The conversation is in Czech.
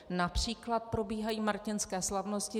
Například probíhají Martinské slavnosti.